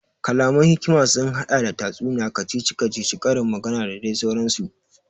Kalaman hikima sun haɗa da tatsuniya, kacici kacici, ƙarin magana da dai sauran su